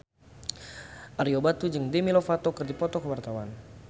Ario Batu jeung Demi Lovato keur dipoto ku wartawan